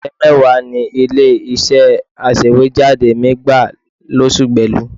Òṣìṣẹ́ mẹ́wàá ni ilé-iṣẹ́ aṣèwéjádé mi gbà lóṣù Belu